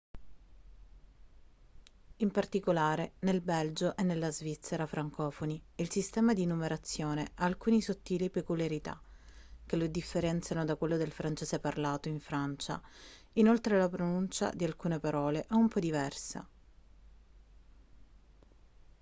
in particolare nel belgio e nella svizzera francofoni il sistema di numerazione ha alcune sottili peculiarità che lo differenziano da quello del francese parlato in francia inoltre la pronuncia di alcune parole è un po' diversa